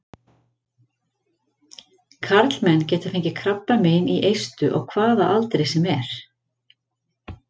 Karlmenn geta fengið krabbamein í eistu á hvaða aldri sem er.